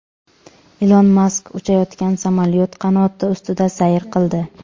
Ilon Mask uchayotgan samolyot qanoti ustida sayr qildi.